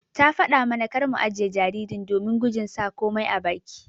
Ta fada mana kar mu ajiƴe jaririn domin gujin sa komai a baki.